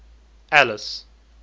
alice